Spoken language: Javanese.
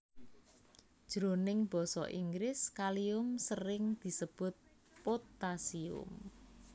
Jroning basa Inggris Kalium sering disebut Potassium